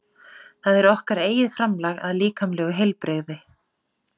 Það er okkar eigið framlag að líkamlegu heilbrigði.